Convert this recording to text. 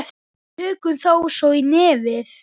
Tökum þá svo í nefið!